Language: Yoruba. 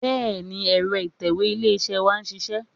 Bẹ́ẹ̀ni, ẹ̀rọ ìtẹ̀wé ilé-iṣẹ́ wa ń ṣiṣẹ́